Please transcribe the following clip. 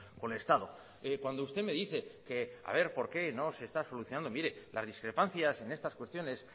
con el estado cuando usted me dice que a ver por qué no se está solucionando mire las discrepancias en estas cuestiones